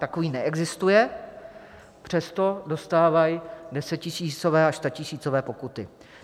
Takový neexistuje, přesto dostávají desetitisícové až statisícové pokuty.